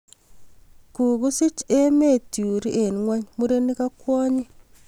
Kukusich emet turii eng ngony murenik ak kwonyii.